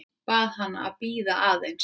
Bað hana að bíða aðeins.